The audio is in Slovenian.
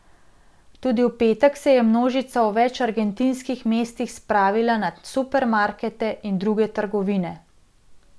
Tudi v petek se je množica v več argentinskih mestih spravila nad supermarkete in druge trgovine.